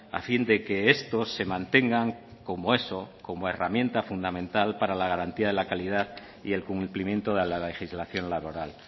a fin de que estos se mantengan como eso como herramienta fundamental para la garantía de la calidad y el cumplimiento de la legislación laboral